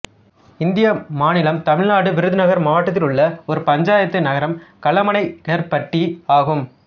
இந்திய மாநிலம் தமிழ்நாடு விருதுநகர் மாவட்டத்தில் உள்ள ஒரு பஞ்சாயத்து நகரம் கல்லமனைக்கெர்பட்டி ஆகும்